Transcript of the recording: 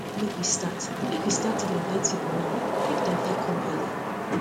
make we start make we start to dey invite people now make um dem fit come early